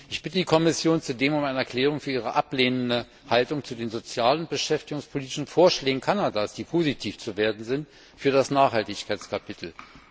Ich bitte die Kommission zudem um eine Erklärung für ihre ablehnende Haltung zu den sozial und beschäftigungspolitischen Vorschlägen Kanadas, die positiv zu werten sind für das Nachhaltigkeitskapitel.